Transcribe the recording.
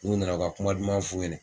N'u nana u ka kuma duman f'u ɲɛnɛ.